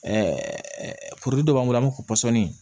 dɔ b'an bolo an b'a fɔ pɔsɔni